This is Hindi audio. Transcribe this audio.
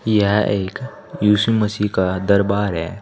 यह एक इशु मशी का दरबार है।